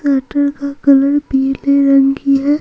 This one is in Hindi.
स्वेटर का कलर रंग की है ।